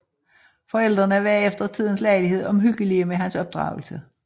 Forældrene var efter tidens lejlighed omhyggelige med hans opdragelse